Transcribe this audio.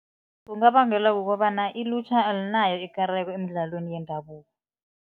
Kungabangelwa kukobana ilutjha alinayo ikareko emidlalweni yendabuko.